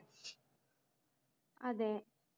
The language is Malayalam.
അതേ